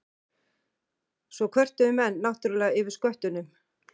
Svo kvörtuðu menn náttúrlega yfir sköttunum.